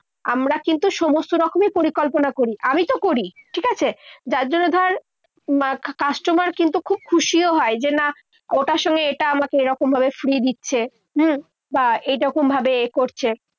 আমরা কিন্তু সমস্ত রকম পরিকল্পনা করি। আমি তো করি। ঠিক আছে? যার জন্য ধর, customer কিন্তু খুব খুশিও হয়, যে না ওটার সঙ্গে এটা আমাকে এরকমভাবে free দিচ্ছে হম বা এরকমভাবে করছে।